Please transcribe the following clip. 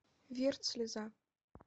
вирт слеза